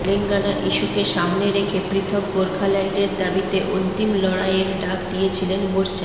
তেলেঙ্গানা ইস্যুকে সামনে রেখে পৃথক গোর্খাল্যান্ডের দাবিতে অন্তিম লড়াইয়ের ডাক দিয়েছিলেন মোর্চা